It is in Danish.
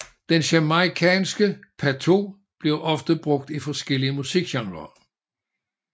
Den jamaicanske patois bliver ofte brugt i forskellige musikgenrer